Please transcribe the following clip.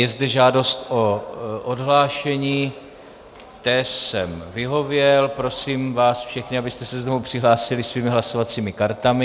Je zde žádost o odhlášení, té jsem vyhověl, prosím vás všechny, abyste se znovu přihlásili svými hlasovacími kartami.